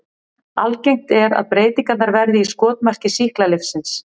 Algengt er að breytingarnar verði í skotmarki sýklalyfsins.